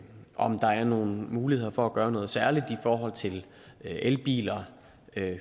om der er nogle muligheder for at gøre noget særligt i forhold til elbiler